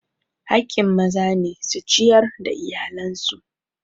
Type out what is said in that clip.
Haƙƙin maza ne su ciyar da iyalan su.